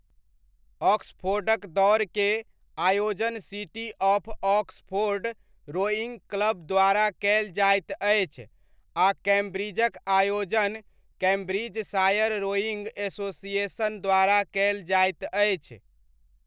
ऑक्सफोर्डक दौड़के आयोजन city of Oxford rowing club द्वारा कयल जाइत अछि आ कैम्ब्रिजक आयोजन कैम्ब्रिजशायर रोइङ्ग एसोसिएशन द्वारा कयल जाइत अछि।